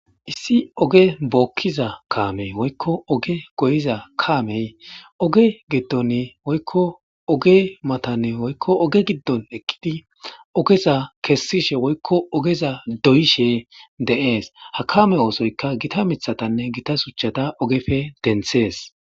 Issi oge bokiza kamey woyiko oge goyiza kamey oge gidoni woyiko oge matani oge gidon eqidi igeza kesishe woyiko ogeza doyishe de'es ha kame osoyika gita mithatane gita shuchata ogepe denthes